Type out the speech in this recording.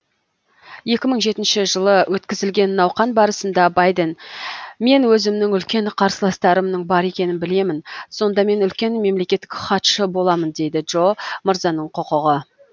екі мың жетінші жылы өткізілген науқан барысында байден мен өзімнің үлкен қарсыластарымның бар екенін білемін сонда мен үлкен мемлекеттік хатшы боламын дейді джо мырзаның құқығы